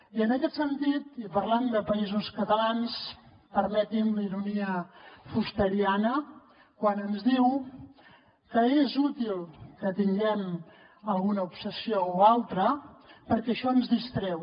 i en aquest sentit i parlant de països catalans permeti’m la ironia fusteriana quan ens diu que és útil que tinguem alguna obsessió o altra perquè això ens distreu